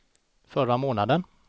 förra månaden